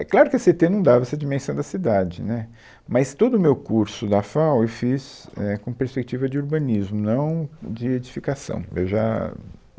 É claro que a Cê ê tê não dava essa dimensão da cidade, né, mas todo o meu curso da FAU eu fiz, é, com perspectiva de urbanismo, não de edificação. Eu já